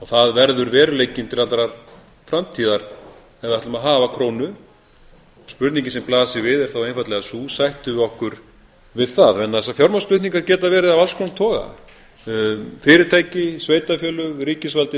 það verður veruleikinn til allrar framtíðar ef við ætlum að hafa krónu spurningin sem blasir við er þá einfaldlega sú sættum við okkur við að vegna þess að fjármagnsflutningar geta verið af alls konar toga fyrirtæki sveitarfélög ríkisvaldið þarf